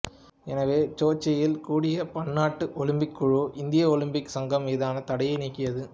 எனவே சோச்சியில் கூடிய பன்னாட்டு ஒலிம்பிக் குழு இந்திய ஒலிம்பிக் சங்கம் மீதான தடையை நீக்கியது